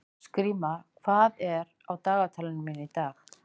Skrýmir, hvað er á dagatalinu mínu í dag?